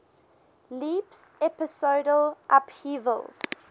leaps episodal upheavals